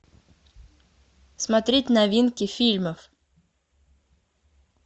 смотреть новинки фильмов